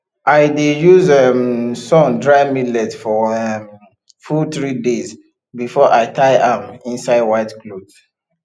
i dey use um sun dry millet for um full three days before i tie am inside white cloth